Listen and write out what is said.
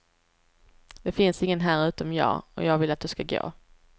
Det finns ingen här utom jag, och jag vill att du ska gå.